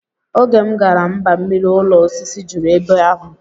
Oge m gara mbammiri ụlọ osisi juru ebe ahụ